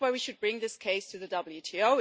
That's why we should bring this case to the WTO.